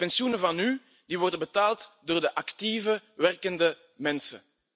De pensioenen van nu worden betaald door de actieve, werkende mensen.